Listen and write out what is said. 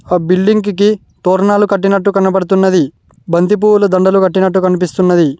ఆ బిల్డింగ్ కి తోరణాలు కట్టినట్టు కనబడుతున్నది బంతిపూల దండలు కట్టినట్టు కనిపిస్తున్నది.